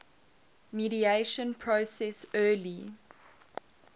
mediation process early